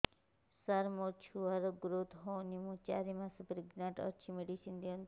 ସାର ମୋର ଛୁଆ ର ଗ୍ରୋଥ ହଉନି ମୁ ଚାରି ମାସ ପ୍ରେଗନାଂଟ ଅଛି ମେଡିସିନ ଦିଅନ୍ତୁ